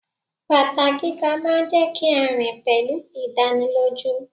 Bàtà gíga máa ń jẹ́ kí a rìn pẹ̀lú ìdánilójú.